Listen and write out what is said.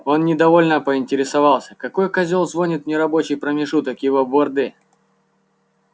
он недовольно поинтересовался какой козёл звонит в нерабочий промежуток его борды